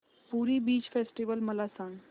पुरी beach festival मला सांग